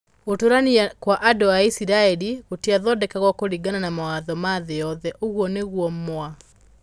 "Gũtũũrania kwa andũ a Isiraeli gũtiathondekagwo kũringana na mawatho ma thĩ yothe", ũguo nĩguo Mw.